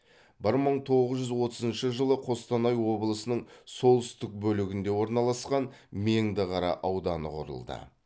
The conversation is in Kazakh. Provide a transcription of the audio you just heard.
бір мың тоғыз жүз отызыншы жылы қостанай облысының солтүстік бөлігінде орналасқан меңдіқара ауданы құрылды